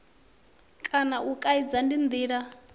kana u kaidza ndi ndila